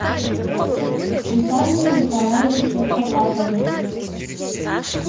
виталии николаевиче потапове